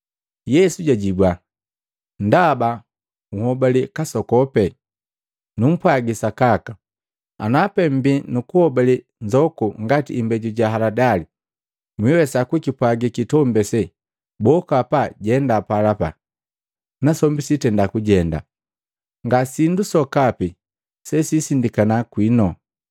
Yesu jajibua, “Ndaba nhuobale kasokopi. Numpwagi sakaka, ana pee mmbii na nhobale nzoku ngati imbeju ja haladali, mwiwesa kukipwagi kitombi ase, ‘Boka hapa ujenda pala,’ Nasombi kiitenda kujenda. Nga sindu sokapi sesisindikana kwinu.